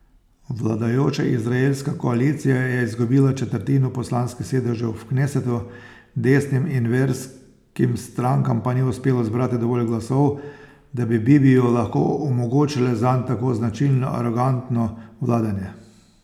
Vladajoča izraelska koalicija je izgubila četrtino poslanskih sedežev v knesetu, desnim in verskim strankam pa ni uspelo zbrati dovolj glasov, da bi Bibiju lahko omogočile zanj tako značilno arogantno vladanje.